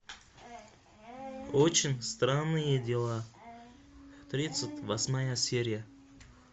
очень странные дела тридцать восьмая серия